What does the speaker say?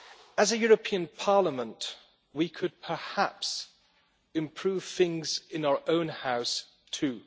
As a European Parliament we could perhaps improve things in our own House too.